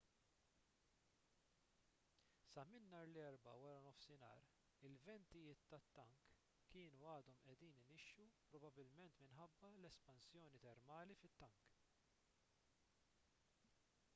sa minn nhar l-erbgħa wara nofsinhar il-ventijiet tat-tank kienu għadhom qiegħdin inixxu probabbilment minħabba l-espansjoni termali fit-tank